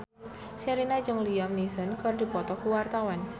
Sherina jeung Liam Neeson keur dipoto ku wartawan